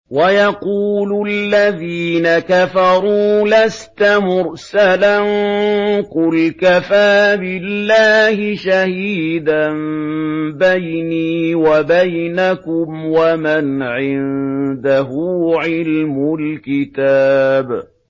وَيَقُولُ الَّذِينَ كَفَرُوا لَسْتَ مُرْسَلًا ۚ قُلْ كَفَىٰ بِاللَّهِ شَهِيدًا بَيْنِي وَبَيْنَكُمْ وَمَنْ عِندَهُ عِلْمُ الْكِتَابِ